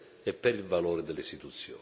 Dirò tre cose velocemente.